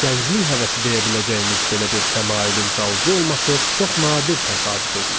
Gənclik həvəsi deyə biləcəyimiz belə bir təmayülün qalıcı olması çox nadir təsadüf edilir.